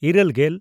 ᱤᱨᱟᱹᱞᱼᱜᱮᱞ